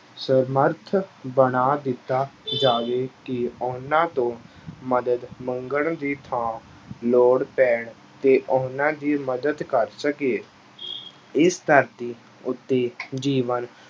ਸਮਰੱਥ ਬਣਾ ਦਿੱਤਾ ਜਾਵੇ ਕਿ ਉਹਨਾਂ ਤੋਂ ਮਦਦ ਮੰਗਣ ਦੀ ਥਾਂ ਲੋੜ ਪੈਣ ਤੇ ਉਹਨਾਂ ਦੀ ਮਦਦ ਕਰ ਸਕੀਏ ਇਸ ਧਰਤੀ ਉੱਤੇ ਜੀਵਨ